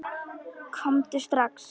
Komdu strax!